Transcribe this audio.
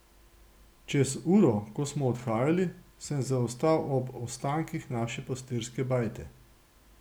Čez uro, ko smo odhajali, sem zaostal ob ostankih naše pastirske bajte.